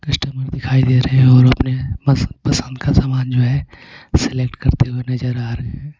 customer दिखाई दे रहे हैं और अपने पसंद पसंद का सामान जो है सेलेक्ट करते हुए नजर आ रहे--